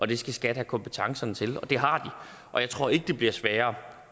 det skal skat have kompetencerne til og det har de og jeg tror ikke det bliver sværere